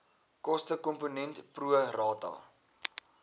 kostekomponent pro rata